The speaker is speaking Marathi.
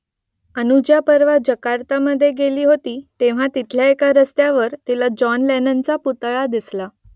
अनुजा परवा जकार्तामध्ये गेली होती तेव्हा तिथल्या एका रस्त्यावर तिला जॉन लेननचा पुतळा दिसला